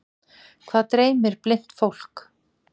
Hvað dreymir blint fólk?